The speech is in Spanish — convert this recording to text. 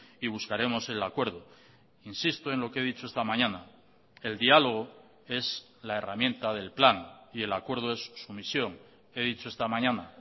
y buscaremos el acuerdo insisto en lo que he dicho esta mañana el diálogo es la herramienta del plan y el acuerdo es su misión he dicho esta mañana